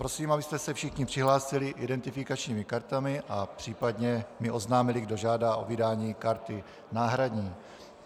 Prosím, abyste se všichni přihlásili identifikačními kartami a případně mi oznámili, kdo žádá o vydání karty náhradní.